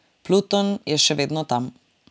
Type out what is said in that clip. Pluton je še vedno tam.